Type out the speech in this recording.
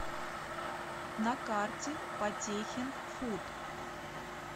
на карте потехин фуд